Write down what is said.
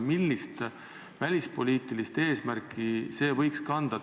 Millist välispoliitilist eesmärki selline piiramine võiks kanda?